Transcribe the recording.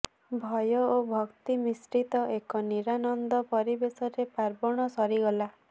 ଭୟ ଓ ଭକ୍ତି ମିଶ୍ରିତ ଏକ ନିରାନନ୍ଦ ପରିବେଶରେ ପାର୍ବଣ ସରିଗଲା